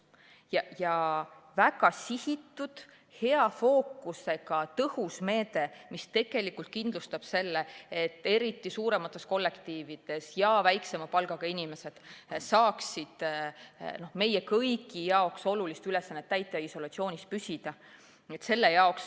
Meil on väga sihitud, hea fookusega tõhus meede, mis kindlustab selle, et just suuremates kollektiivides ja väiksema palgaga inimesed saaksid meie kõigi jaoks olulist ülesannet täita ja isolatsioonis püsida.